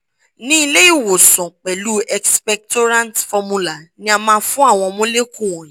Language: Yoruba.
ni ilé ìwòsàn pẹ̀lú expectorant formula ni a ma fun Àwọn molecule wọnyi